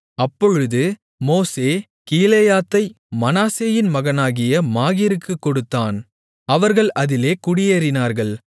அப்பொழுது மோசே கீலேயாத்தை மனாசேயின் மகனாகிய மாகீருக்குக் கொடுத்தான் அவர்கள் அதிலே குடியேறினார்கள்